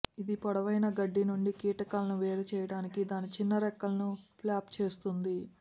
ఇది పొడవైన గడ్డి నుండి కీటకాలను వేరుచేయటానికి దాని చిన్న రెక్కలను ఫ్లాప్ చేస్తుంది